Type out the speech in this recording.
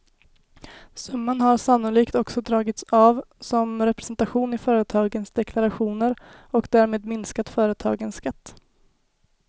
Summan har sannolikt också dragits av som representation i företagens deklarationer och därmed minskat företagens skatt.